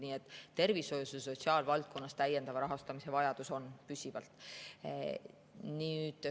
Nii et tervishoius ja sotsiaalvaldkonnas on täiendava rahastamise vajadus püsivalt.